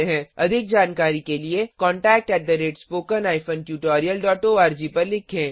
अधिक जानकारी के लिए contactspoken tutorialorg पर लिखें